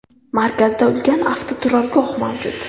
Markazda ulkan avtoturargoh mavjud.